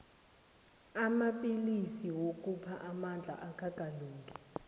amapillisi wokupha amandla akakalungi